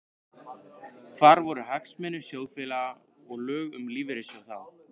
Hvar voru hagsmunir sjóðfélaga og lög um lífeyrissjóði þá?